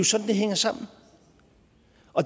sådan det hænger sammen